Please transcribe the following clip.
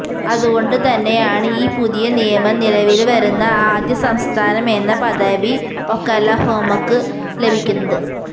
അതുകൊണ്ടു തന്നെയാണ് ഈ പുതിയ നിയമം നിലവില് വരുന്ന ആദ്യ സംസ്ഥാനമെന്ന പദവി ഒക്കലഹോമക്ക് ലഭിക്കുന്നത്